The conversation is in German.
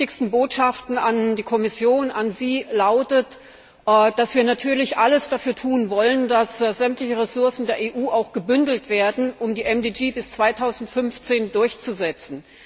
Eine unserer wichtigsten Botschaften an die Kommission, an Sie, lautet, dass wir natürlich alles dafür tun wollen, dass sämtliche Ressourcen der EU gebündelt werden, um die Millenniums Entwicklungsziele bis 2015 durchzusetzen.